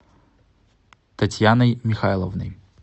татьяной михайловной